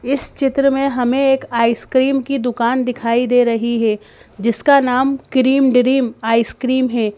इस चित्र में हमें एक आइसक्रीम की दुकान दिखाई दे रही है जिसका नाम क्रीम ड्रीम आइसक्रीम है।